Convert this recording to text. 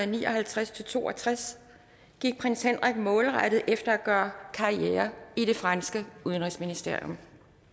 ni og halvtreds til to og tres gik prins henrik målrettet efter at gøre karriere i det franske udenrigsministerium